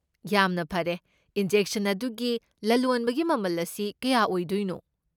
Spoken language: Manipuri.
ꯌꯥꯝꯅ ꯐꯔꯦ꯫ ꯏꯟꯖꯦꯛꯁꯟ ꯑꯗꯨꯒꯤ ꯂꯂꯣꯟꯕꯒꯤ ꯃꯃꯜ ꯑꯁꯤ ꯀꯌꯥ ꯑꯣꯏꯗꯣꯏꯅꯣ?